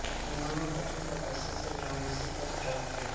उन्होने कठिन तपस्या से ब्रह्मर्षि पद प्राप्त किया